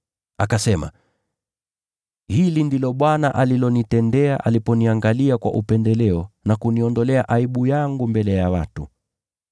Akasema, “Hili ndilo Bwana alilonitendea aliponiangalia kwa upendeleo na kuniondolea aibu yangu mbele ya watu.”